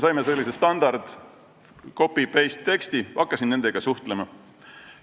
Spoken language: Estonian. Saime sellise standard copy-paste-teksti ja ma hakkasin nende inimestega suhtlema.